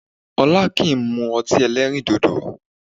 Ọlá kìí mú ọtí ẹlẹ́rìndòdò